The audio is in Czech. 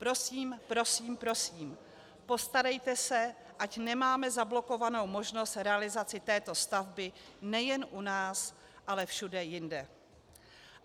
Prosím, prosím, prosím, postarejte se, ať nemáme zablokovanou možnost realizace této stavby nejen u nás, ale všude jinde."